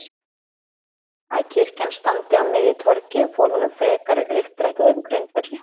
að kirkjan standi á miðju torgi og fól honum frekari uppdrætti á þeim grundvelli